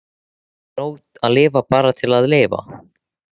Er ekki nóg að lifa bara til að lifa?